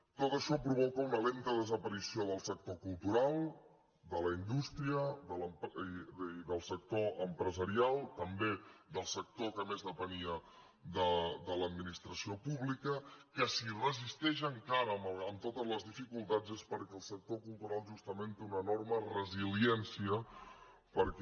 tot això provoca una lenta desaparició del sector cultural de la indústria i del sector empresarial també del sector que més depenia de l’administració pública que si resisteix encara amb totes les dificultats és perquè el sector cultural justament té una enorme resiliència perquè